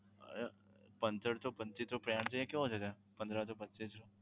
અમ પંદર સો પંચોતેર નો plan છે તે કેવો છે? પંદર સો પચ્ચીસ નો